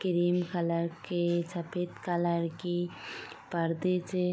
cream colour के सफेद colour के परदे से --